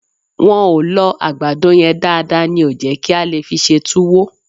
Wọ́n ò lọ àgbàdo yẹn dáadáa ní ò jẹ́ kí a lè fi ṣe tuwo